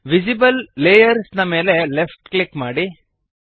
visible layers ನ ಮೇಲೆ left click ಮಾಡಿರಿ